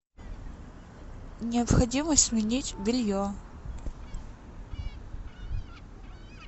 необходимо сменить белье